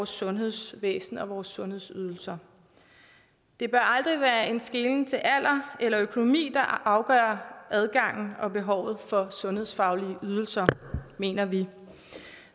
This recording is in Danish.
sundhedsvæsenet og sundhedsydelserne det bør aldrig være en skelen til alder eller økonomi der afgør adgangen og behovet for sundhedsfaglige ydelser mener vi